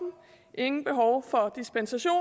ingen behov for dispensation